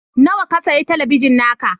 Nawa ka sayi talabijin naka?